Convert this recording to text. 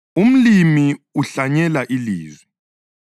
Umlimi uhlanyela ilizwi.